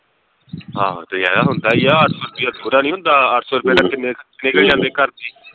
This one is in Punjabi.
ਹਾਂ ਤੇ ਐ ਹੁੰਦਾ ਈ ਆ ਅੱਠ ਸੌ ਰੁਪਿਆ ਥੋੜਾ ਨੀ ਹੁੰਦਾ ਅੱਠ ਸੌ ਰੁਪੈ ਨਾਲ ਕਿੰਨੇ ਖਰਚੇ ਨਿਕਲ ਜਾਂਦੇ ਘਰ ਦੇ